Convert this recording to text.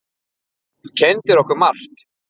Þú kenndir okkur margt.